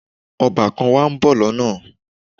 Ọbàkan wa ń bọ̀ lọ́nà